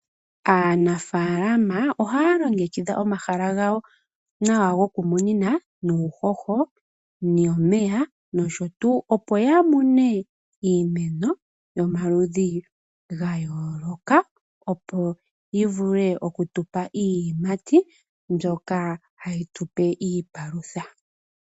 Aanafalama ohaya longekidha omahala gawo nawa goku munina nuuhoho, omeya nosho tuu. Opo ya mone iimeno yomaludhi ga yooloka, opo yi vule oku tupa iiyimati, mbyoka hayi tupe iipalutha.